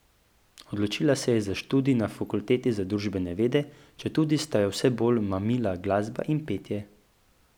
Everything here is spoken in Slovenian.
Odločila se je za študij na Fakulteti za družbene vede, četudi sta jo vse bolj mamila glasba in petje.